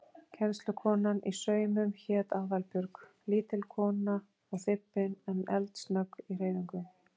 Kennslukonan í saumum hét Aðalbjörg, lítil kona og þybbin en eldsnögg í hreyfingum.